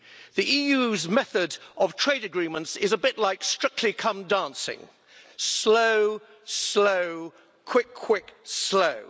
The EU's method of trade agreements is a bit like Strictly Come Dancing slow, slow, quick, quick, slow.